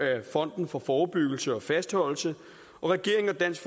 fonden for forebyggelse og fastholdelse og regeringen og dansk